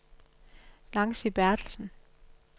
Nancy Bertelsen